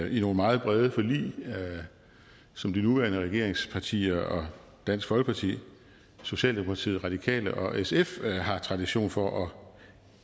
i nogle meget brede forlig som de nuværende regeringspartier og dansk folkeparti socialdemokratiet radikale og sf har tradition for at